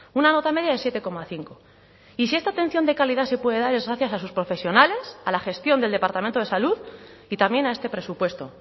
una nota media de siete coma cinco y si esta atención de calidad se puede dar es gracias a sus profesionales a la gestión del departamento de salud y también a este presupuesto